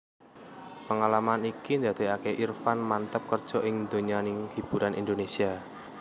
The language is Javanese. Pengalaman iki ndadékaké Irfan manteb kerja ing donyaning hiburan Indonesia